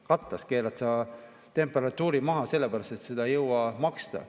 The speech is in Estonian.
Katlas keerad temperatuuri maha sellepärast, et seda ei jõua maksta.